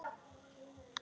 Hún horfði hugsi á hann.